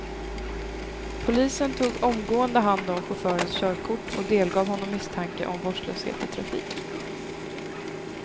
Polisen tog omgående hand om chaufförens körkort och delgav honom misstanke om vårdslöshet i trafik.